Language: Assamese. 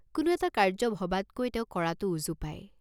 কোনো এটা কাৰ্য্য ভবাতকৈ তেওঁ কৰাটো উজু পায়।